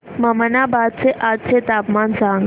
ममनाबाद चे आजचे तापमान सांग